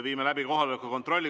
Viime läbi kohaloleku kontrolli.